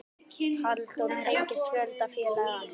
Halldór tengist fjölda félaga.